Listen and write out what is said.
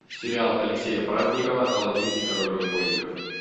сериал алексея праздникова аладдин и король разбойников